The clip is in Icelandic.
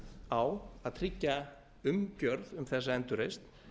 á að tryggja umgjörð um þessa endurreisn